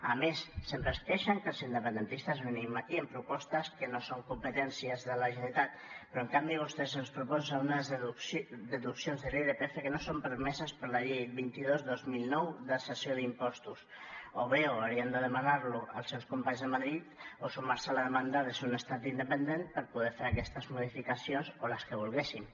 a més sempre es queixen que els independentistes venim aquí amb propostes que no són competència de la generalitat però en canvi vostès ens proposen unes deduccions de l’irpf que no són permeses per la llei vint dos dos mil nou de cessió d’impostos o bé ho haurien de demanar als seus companys a madrid o sumar se a la demanda de ser un estat independent per poder fer aquestes modificacions o les que volguéssim